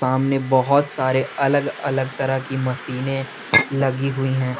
सामने बहुत सारे अलग अलग तरह की मशीनें लगी हुई हैं।